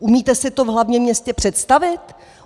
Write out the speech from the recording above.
Umíte si to v hlavním městě představit?